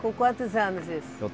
Com quantos anos isso?